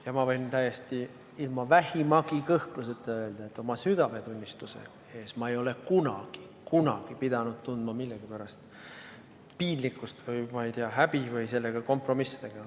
Ja ma võin ilma vähimagi kõhkluseta öelda, et oma südametunnistuse ees ei ole ma kunagi pidanud tundma millegi pärast piinlikkust või häbi ega sellega kompromisse tegema.